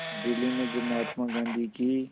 दिल्ली में जब महात्मा गांधी की